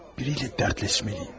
Biri ilə dərdləşməliyəm.